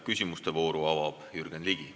Küsimuste vooru avab Jürgen Ligi.